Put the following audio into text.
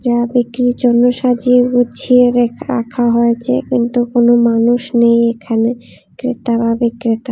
ও বিক্রির জন্য সাজিয়ে গুছিয়ে রেখ রাখা হয়েছে কিন্তু কোনো মানুষ নেই এখানে ক্রেতা বা বিক্রেতা।